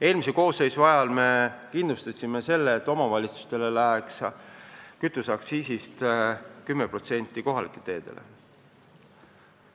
Eelmise koosseisu ajal me kindlustasime selle, et kütuseaktsiisist 10% läheks kohalikele teedele.